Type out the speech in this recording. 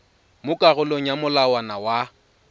mo karolong ya molawana wa